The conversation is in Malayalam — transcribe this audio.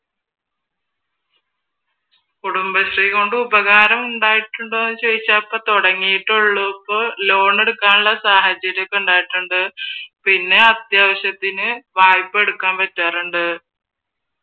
കുടുംബശ്രീ കൊണ്ട് ഉപകാരം ഉണ്ടായിട്ടുണ്ടോ എന്ന് ചോദിച്ചാൽ ഇപ്പൊ തുടങ്ങിയിട്ടേ ഒള്ളു ഇപ്പോൾ ലോൺ എടുക്കാൻ സാഹചര്യം ഒക്കെ ഉണ്ടായിട്ടുണ്ട് പിന്നെ അത്യാവശ്യത്തിന് വായ്‌പ്പാ എടുക്കാൻ പറ്റാറുണ്ട്